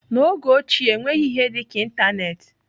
N'oge ochie, enweghị ihe dịka ịntanetị.